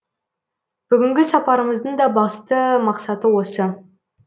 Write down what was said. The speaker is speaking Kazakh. бүгінгі сапарымыздың да басты мақсаты осы